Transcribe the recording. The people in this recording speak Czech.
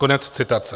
Konec citace.